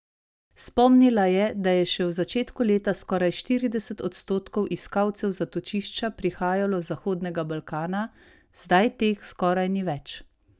Spomnila je, da je še v začetku leta skoraj štirideset odstotkov iskalcev zatočišča prihajalo z Zahodnega Balkana, zdaj teh skoraj ni več.